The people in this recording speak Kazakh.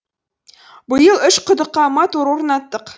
биыл үш құдыққа мотор орнаттық